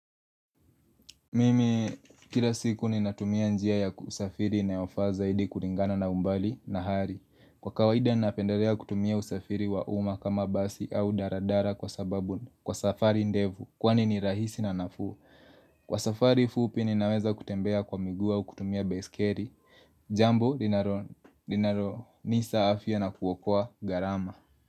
Mimi kila siku ni natumia njia ya kusafiri na ya ofaza hidi kuringana na umbali na hari. Kwa kawaida ni napendalea kutumia usafiri wa uma kama basi au daradara kwa sababu kwa safari ndevu kwa nini rahisi na nafu. Kwa safari fupi ni naweza kutembea kwa miguu au kutumia base carry. Jambo, linaro, linaro, nisa afia na kuwakua garama.